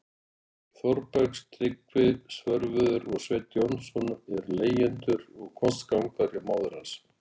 Þórbergs- Tryggvi Svörfuður og Sveinn Jónsson- eru leigjendur og kostgangarar hjá móður hans.